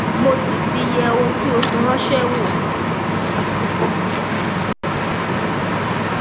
mo sì ti yẹ ohun tí o fi ránṣẹ wò